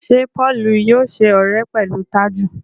Ṣe Paul yóò ṣe ọrẹ pẹlú Taju?